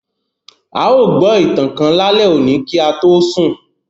À yóò gbọ itan kan lale oni ki a to sun.